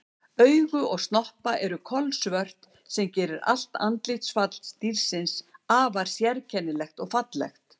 Augu og snoppa eru kolsvört sem gerir allt andlitsfall dýrsins afar sérkennilegt og fallegt.